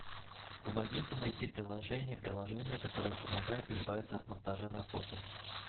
помогите найти приложение приложение которое помогает избавиться от монтажа на фото